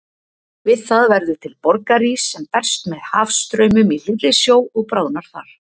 Við það verður til borgarís sem berst með hafstraumum í hlýrri sjó og bráðnar þar.